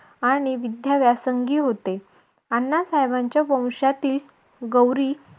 आणि विद्याव्यासंगी होते अण्णा साहेबांच्या वंशातील गौरी